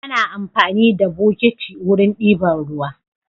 Ana amfani da bokiti wurin diban ruwa